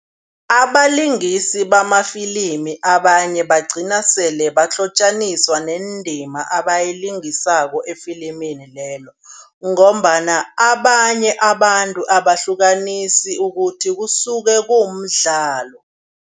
Abalingisi bamafilimu abanye bagcina sele bahlotjaniswa nendima abayilingisako efilimini lelo ngombana abanye abantu abahlukanisi ukuthi kusuke kuwumdlalo.